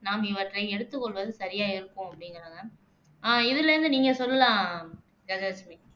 நாம் இவற்றை எடுத்துக் கொள்வது சரியா இருக்கும் அப்படிங்குறாங்க இதுல இருந்து நீங்க சொல்லலாம் கஜலட்சுமி